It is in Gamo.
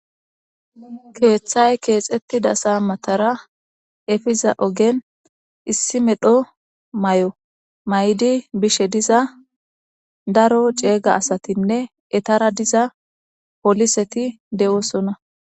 Keeththay keexetti dasa matara efiza ogen issi medho may'o may'di bishe diza daro ceega asatinne etara diza poliseti de'osona.